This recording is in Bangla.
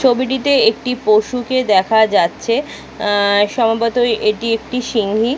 ছবিটিতে একটি পশুকে দেখা যাচ্ছে সম্ভবত এটি একটি সিংহী।